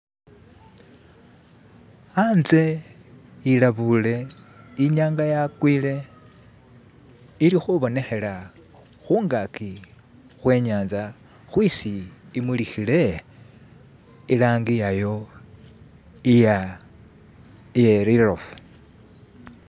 Anze ilabuule, inyanga yagwile ilikubonekela kungaji kwe'nyanza kwesi imulikile ilangi iyayo iya iye litofu